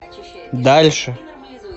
дальше